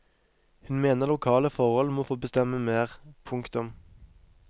Hun mener lokale forhold må få bestemme mer. punktum